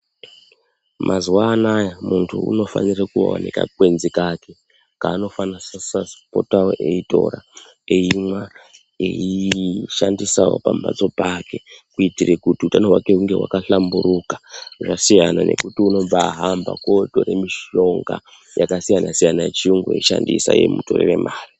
Mazuwa anaya munthu unofanire kuvawo nekakwenzi kake kaanofanisisa kupotawo eitora eimwa, eishandisawo pambatso pake kuitire kuti utano hwake hunge hwakahlamburuka. Zvaasiyana nekuti unombaahamba kotore mishonga yakasiyana -siyana yechiyungu eishandisa yeimutorere mare.